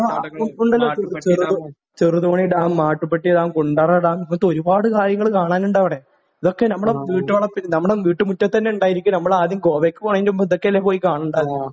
ആ. ഉ ഉണ്ടല്ലോ. ചെറുതോ Cheruthoni dam, Mattupetty dam, Kundala dam. ഇതുപോലത്തെ ഒരുപാട് കാര്യങ്ങൾ കാണാനുണ്ട് അവിടെ. ഇതൊക്കെ നമ്മുടെ വീട്ടുവളപ്പിൽ നമ്മുടെ വീട്ടുമുറ്റത്തു തന്നെ ഉണ്ടായിട്ടാണ് നമ്മൾ ആദ്യം ഗോവക്ക് പോകുന്നതിന് മുൻപ് ഇതൊക്കെയല്ലേ പോയി കാണേണ്ടത്.